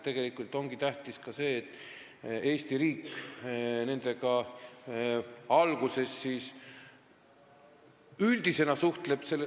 Tegelikult ongi tähtis see, et Eesti riik suhtleb nendega alguses üldiselt.